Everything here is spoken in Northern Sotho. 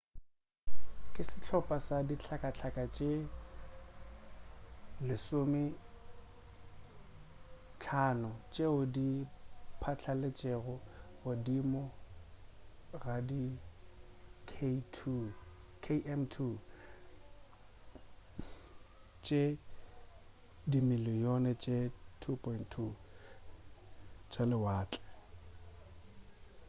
ke sehlopa sa dihlakahlaka tše 15 tšeo di phatlaletšego godimo ga di km2 tše dimiliyone tše 2.2 tša lewatle